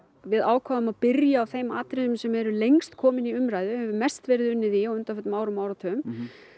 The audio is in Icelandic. við ákváðum að byrja á þeim atriðum sem eru lengst komin í umræðu og mest verið unnið í á undanförnum árum og áratugum